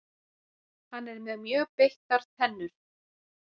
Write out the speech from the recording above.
hann er með mjög beittar tennur